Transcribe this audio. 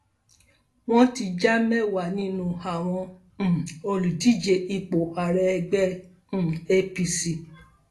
wọn ti já mẹwàá nínú àwọn um olùdíje ipò ààrẹ ẹgbẹ um apc